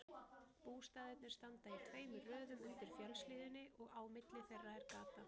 Bústaðirnir standa í tveimur röðum undir fjallshlíðinni og á milli þeirra er gata.